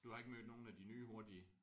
Du har ikke mødt nogen af de nye hurtige?